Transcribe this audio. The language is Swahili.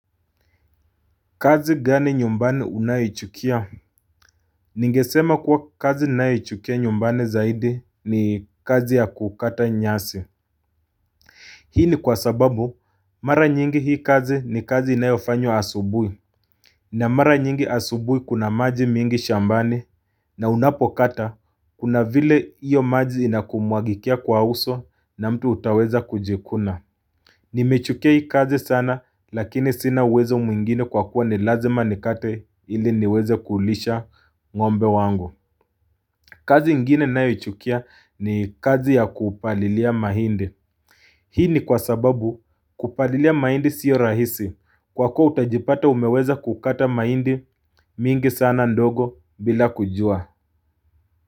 Kazi gani nyumbani unayochukia? Ningesema kuwa kazi ninayochukia nyumbani zaidi ni kazi ya kukata nyasi. Hii ni kwa sababu mara nyingi hii kazi ni kazi inayofanywa asubui. Na mara nyingi asubui kuna maji mingi shambani na unapokata kuna vile hiyo maji inakumwagikia kwa uso na mtu utaweza kujikuna. Nimechukia hii kazi sana lakini sina uwezo mwingine kwa kuwa ni lazima nikate ili niweze kulisha ngombe wangu kazi ingine ninayochukia ni kazi ya kupalilia mahindi Hii ni kwa sababu kupalilia mahindi siyo rahisi kwa kuwa utajipata umeweza kukata mahindi mingi sana ndogo bila kujua.